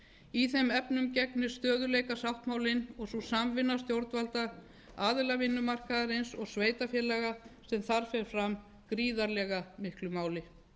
í þeim efnum gegnir stöðugleikasáttmálinn og sú samvinna stjórnvalda aðila vinnumarkaðarins og sveitarfélaga sem þar fer fram gríðarlega miklu máli